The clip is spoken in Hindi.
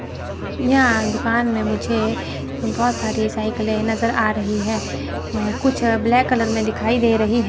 यहां दुकान में मुझे बहोत सारी साइकिले नजर आ रही है कुछ ब्लैक कलर में दिखाई दे रही हैं।